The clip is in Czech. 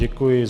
Děkuji.